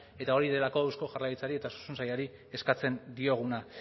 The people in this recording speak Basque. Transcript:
eta hori delako eusko jaurlaritzari eta osasun sailari eskatzen dioguna